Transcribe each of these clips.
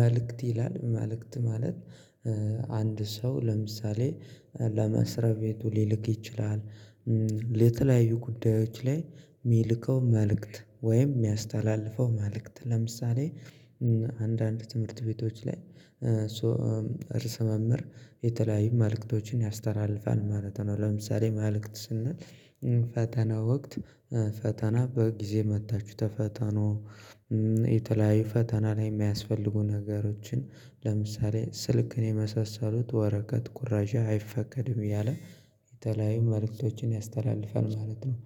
መልእክት ይላል መልእክት ማለት አንድ ሰው ለምሳሌ ለመስሪያቤቱ ሊልክ ይችላል። ለተለያዩ ጉዳዮች ላይ የሚልከው መልእክት ወይም የሚያስተላልፈው መልእክት ለምሳሌ አንዳንድ ትምህርት ቤቶች ላይ ርስ መምህር የተለያዩ መልእክቶችን ያስተላልፋል ማለት ነው። ለምሳሌ መልእክት ስንል ፈተና ወቅት ፈተና በጊዜ መጥታችሁ ተፈተኑ የተለያዩ ፈተና ላይ የሚያስፈልጉ ነገሮችን ለምሳሌ ስልክን የመሳሰሉት ወረቀት ኩረጃ አይፈቀድም እያለ የተለያዩ መልእክቶችን ያስተላልፋል ማለት ነው።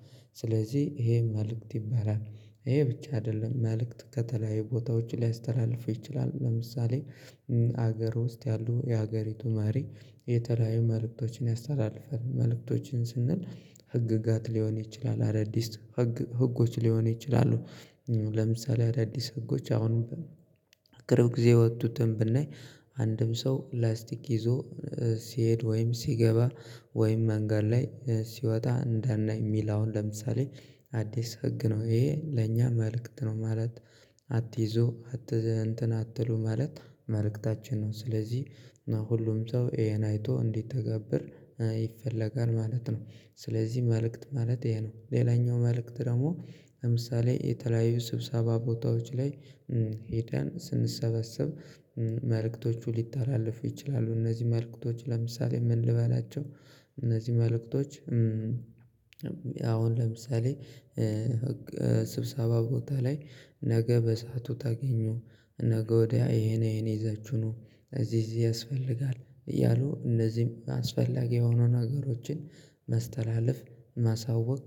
ስለዚህ ይሄ መልእክት ይባላል ይሄ ብቻ አይደለም መልእክት ከተለያዩ ቦታዎች ሊያስተላልፉ ይችላሉ ለምሳሌ ሀገሩ ውስጥ ያሉ የሀገሪቱ ማሪ የተለያዩ መልእክቶችን ያስተላልፈን መልእክቶችን ስንል ህግጋት ሊሆን ይችላል አዳዲስ ህጎች ሊሆን ይችላሉ። ለምሳሌ አዳዲስ ህጎች አሁን በቅርብ ጊዜ የወጡትን ብናይ አንድም ሰው ላስቲክ ይዞ ሲሄድ ወይም ሲገባ ወይም መንገድ ላይ ሲወጣ እንደናይ የሚል አሁን ለምሳሌ አዲስ ህግ ነው ይሄ ለኛ መልእክት ነው። ማለት አትይዞ እንትን አትሉ ማለት መልእክታችን ነው ስለዚህ ሁሉም ሰው ይሄን አይቶ እንዲተገብር ይፈለጋል ማለት ነው። ስለዚህ መልእክት ማለት ይሄ ነው ሌላኛው መልእክት ደግሞ ለምሳሌ የተለያዩ ስብሰባ ቦታዎች ላይ ሄደን ስንሰበስብ መልእክቶቹ ሊተላለፉ ይችላሉ እነዚህ መልእክቶች ለምሳሌ ምን ልበላቸው? እነዚህ መልእክቶች አሁን ለምሳሌ ህግ ስብሰባ ቦታ ላይ ነገ በሰአቱ ታገኙ ነገ ወዲያ ይሄን ይሄን ይዛችሁ ኑ እዚህ እዚህ ያስፈልጋል እያሉ እነዚህም አስፈላጊ የሆኑ ነገሮችን ማስተላለፍ ማሳወቅ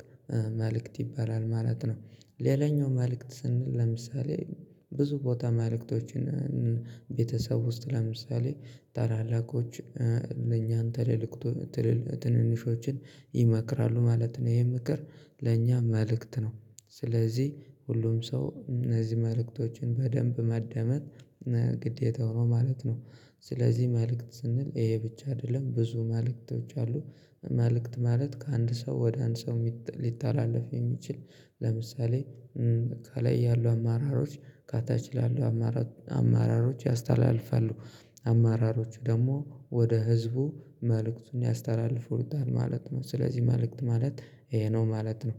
መልእክት ይባላል ማለት ነው። ሌላኛው መልእክት ስንል ለምሳሌ ብዙ ቦታ መልእክቶችን ቤተሰብ ውስጥ ለምሳሌ ታላላቆች ለኛ ትልልቅ ትል ትንንሾችን ይመክራሉ ማለት ነው። ይሄ ምክር ለእኛ መልእክት ነው ስለዚህ ሁሉም ሰው እነዚህ መልእክቶችን በደንብ ማዳመጥ ግዴታው ነው ማለት ነው። ስለዚህ መልእክት ስንል ይሄ ብቻ አይደለም ብዙ መልእክቶች አሉ። መልእክት ማለት ከአንድ ሰው ወደ አንድ ሰው ሊተላለፍ የሚችል ለምሳሌ ከላይ ያሉ አመራሮች ከታች ላሉ አመራሮች አመራሮች ያስተላልፋሉ አማራሮቹ ደግሞ ወደ ህዝቡ መልእክቱን ያስተላልፉታል ማለት ነው። ስለዚህ መልእክት ማለት ይሄ ነው ማለት ነው